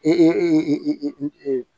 I